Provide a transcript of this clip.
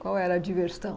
Qual era a diversão?